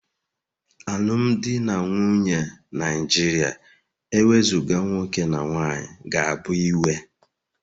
Alụmdi na nwunye Naijiria ewezuga nwoke na nwanyị ga-abụ iwe